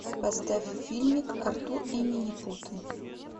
поставь фильм артур и минипуты